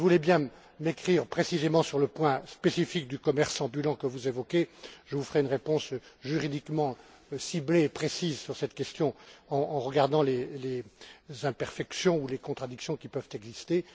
Si vous voulez bien m'écrire précisément sur le point spécifique du commerce ambulant que vous évoquez, je vous ferai une réponse juridiquement ciblée et précise sur cette question, en examinant les imperfections ou les contradictions qui peuvent exister.